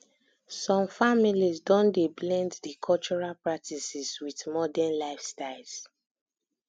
some families don dey blend di cultural practices wit modern lifestyles